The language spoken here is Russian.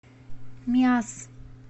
миасс